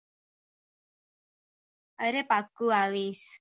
અરે પાક્કું આવીશ